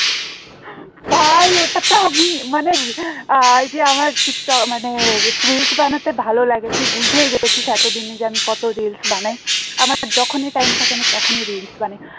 ভাই ওটা তো আমি মানে আহ যে আমার মানে reels বানাতে ভালো লাগে তুই বুঝেই গেছিস এতদিনে যে আমি কত reels বানাই আমার তো যখনই time থাকে আমি তখনই reels বানাই